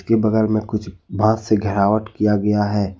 के बगल मे कुछ बास से घेरावट किया गया है।